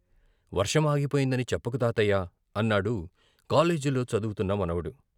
"వర్షం ఆగిపోయిందని చెప్పకు తాతయ్యా" అన్నాడు కాలేజీలో చదువుతున్న మనవడు.